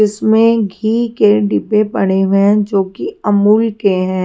इसमें घी के डिब्बे पड़े हुए हैं जो कि अमूल के हैं।